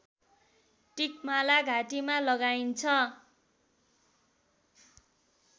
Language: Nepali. टिकमाला घाँटीमा लगाइन्छ